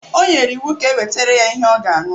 O nyere iwu ka e wetara ya ihe ọ ga ṅụ.